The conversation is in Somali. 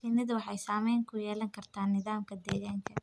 Shinnidu waxay saamayn ku yeelan kartaa nidaamka deegaanka.